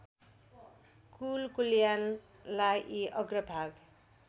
कुल कुलायनलाई अग्रभाग